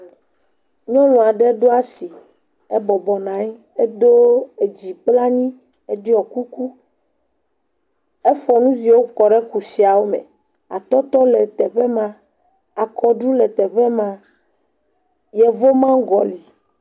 Nyɔnu aɖe ɖo asi, ebɔbɔ nɔ anyi, edo edzi kple anyi, eŋɔe kuku. Efɔ nuziwo kɔ ɖe zikpuia me. Atɔtɔ le teƒe maa, akɔɖu le teƒe maa. Yevu mango le.